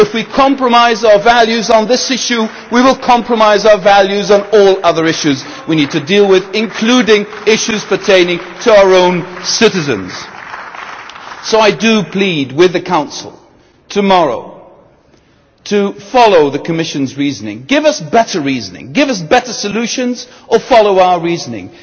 If we compromise our values on this issue, we will compromise our values on all other issues that we need to deal with, including issues pertaining to our own citizens. So I plead with the Council to follow the Commission's reasoning tomorrow. Give us better reasoning, give us better solutions or follow our reasoning.